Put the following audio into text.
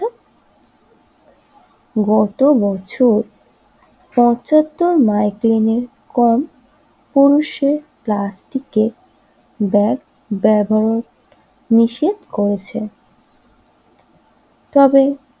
গত বছর পছাত্তর এর কম